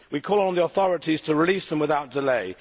We call on the authorities to release them without delay.